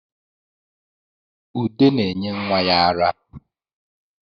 Ude na-enye nwa ya ara